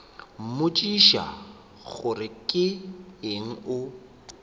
mmotšiša gore ke eng o